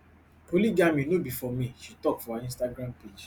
polygamy no be for me she tok for her instagram page